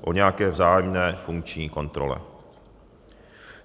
o nějaké vzájemné funkční kontrole.